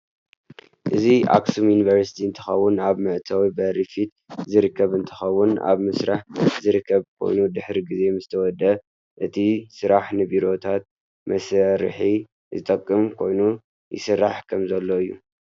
እዚ ኣክሱም ዩንቨርስት እንትከውን ኣብ ምእተው ብሪ ፈት ዝርበከብ እንትከውን ኣብ ምስራሕ ዝርከብ ኮይኑ ድሕሪ ግዜ ምስ ተወደእ እቲ ስራሕ ንቤሮታት መሳርሕ ዝጠቅም ኮይኑ ይስራሕ ከም ዘለ እዩ።